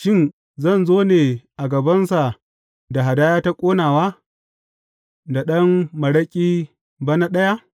Shin, zan zo ne a gabansa da hadaya ta ƙonawa, da ɗan maraƙi bana ɗaya?